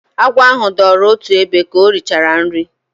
Agwo ahu dooro otu ebe ka o richara nri